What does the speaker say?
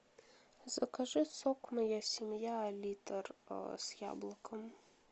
закажи сок моя семья литр с яблоком